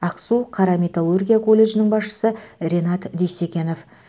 ақсу қара металлургия колледжінің басшысы ренат дүйсекенов